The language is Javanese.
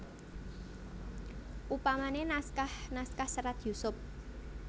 Upamane naskah naskah Serat Yusup